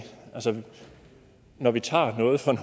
når vi tager noget fra